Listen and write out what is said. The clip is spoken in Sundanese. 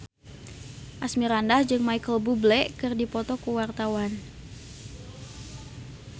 Asmirandah jeung Micheal Bubble keur dipoto ku wartawan